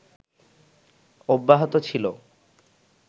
অব্যাহত ছিল